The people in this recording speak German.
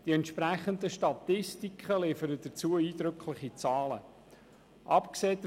Die entsprechenden Statistiken liefern eindrückliche Zahlen dazu.